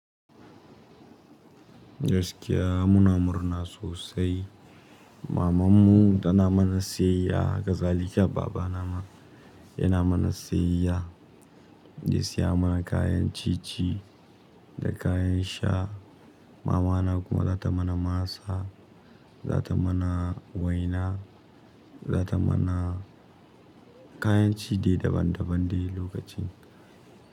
Gaskiya muna murna sosai. Maman mu tana min nasiyya, haka zaliki baba na ma yana min nasiyya. Ya siya mana kayan ciye-ciye da kayan sha. Mama na kuma za ta mana masa, za ta mana waina, za ta mana kayan ci dai daban-daban dai lokacin.